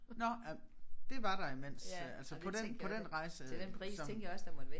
Nåh ja det var der imens øh altså på den på den rejse som